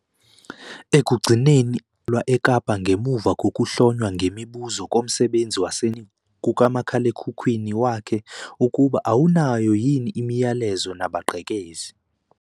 Ekugcineni abasolwa batholwa eKapa ngemuva kokuhlonywa ngemibuzo lomsebenzi wasendlini nasekuhlolweni kukamakhalekhikhini wakhe ukuba awunayo yini imiyalezo nabagqekezi.